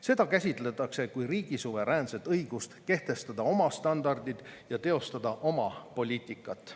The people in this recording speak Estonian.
Seda käsitletakse kui riigi suveräänset õigust kehtestada oma standardid ja teostada oma poliitikat.